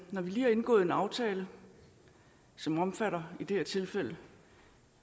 når vi lige har indgået en aftale som omfatter i det her tilfælde